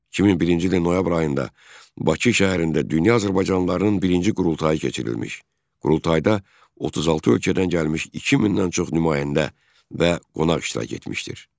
2001-ci ilin noyabr ayında Bakı şəhərində dünya azərbaycanlılarının birinci qurultayı keçirilmiş, qurultayda 36 ölkədən gəlmiş 2000-dən çox nümayəndə və qonaq iştirak etmişdir.